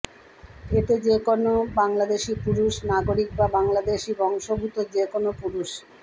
এতে যে কোনো বাংলাদেশি পুরুষ নাগরিক বা বাংলাদেশি বংশোদ্ভুত কে কোনো পুরুষ